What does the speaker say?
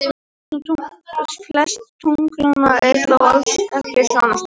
Flest tunglanna eru þó alls ekki svona stór.